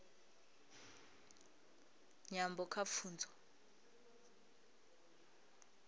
nyambo kha pfunzo